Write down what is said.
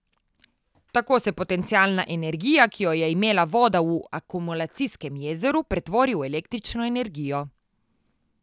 Tako se potencialna energija, ki jo je imela voda v akumulacijskem jezeru, pretvori v električno energijo.